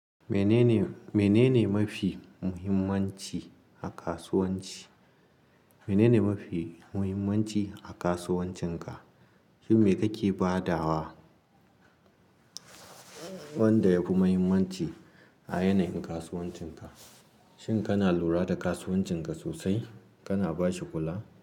Menene, menene mafi muhimmanci a kasuwanci? Menene mafi muhimmanci a kasuwancinka? Shin me kake badawa wanda yafi muhimmanci a yanayin kasuwancinka? Shin kana lura da kasuwancinka sosai? Kana bashi kula?